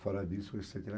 Fora disso,